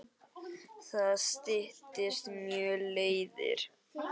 Það styttir mjög leiðir.